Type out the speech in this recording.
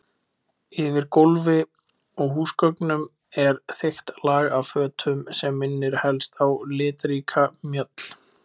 Yfir gólfi og húsgögnum er þykkt lag af fötum sem minnir helst á litríka mjöll.